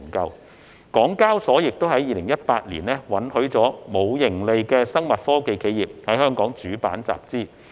香港交易所亦於2018年允許尚未有盈利的生物科技企業在主板集資。